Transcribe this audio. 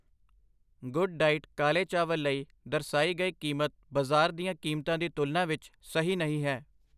Good diet ਕਾਲੇ ਚਾਵਲ ਲਈ ਦਰਸਾਈ ਗਈ ਕੀਮਤ ਬਾਜ਼ਾਰ ਦੀਆਂ ਕੀਮਤਾਂ ਦੀ ਤੁਲਨਾ ਵਿੱਚ ਸਹੀ ਨਹੀਂ ਹੈ।